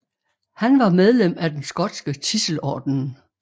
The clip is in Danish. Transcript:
Han var medlem af den skotske Tidselordenen